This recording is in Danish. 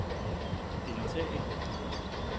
deltage